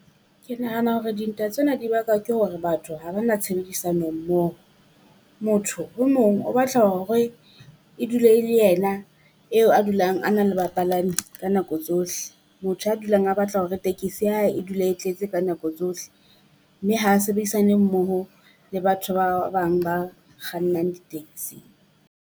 Ke nahana hore dintwa tsena di bakwa ke hore batho ha ba na tshebedisano mmoho. Motho o mong o batla hore e dule le ena eo a dulang a na le bapalami ka nako tsohle, motho a dulang a batla hore tekesi ya hae e dula e tletse ka nako tsohle. Mme ha sebedisane mmoho le batho ba bang ba kgannang di-taxi.